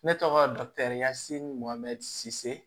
Ne tɔgɔ dukiasi mohammɛ s